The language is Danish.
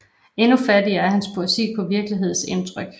Endnu fattigere er hans poesi på virkelighedsindtryk